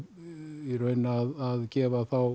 í raun að gefa þá